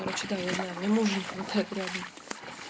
короче да я знаю мне мужа не хватает рядом